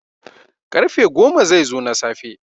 karfe goma zai zo na safe